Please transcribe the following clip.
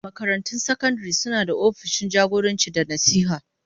Makarantun sakandare suna da opishin jagoranci da nasiha.